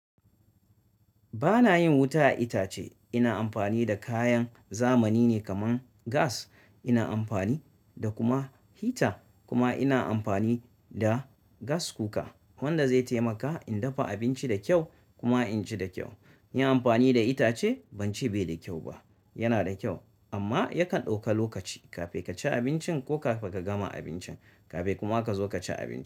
Ba na yin wuta a itace. Ina amfani da kayan zamani ne kamar gas. Ina amfani da kuma heater kuma ina amfani da gas cooker wanda zai taimaka in dafa abinci da kyau kuma in ci da kyau. Yin amfani da itace ban ce bai da kyau ba, yana da kyau amma yakan ɗauka lokaci kafin ka ci abincin ko kafin ka gama abincin kafin kuma ka zo ka ci abinci.